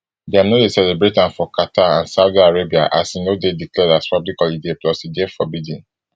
dem no dey celebrate am for qatar and saudi arabia as e no dey declared as public holiday plus e dey forbidden